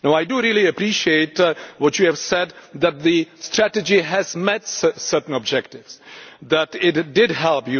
I really appreciate what you have said, that the strategy has met certain objectives, and that it did help.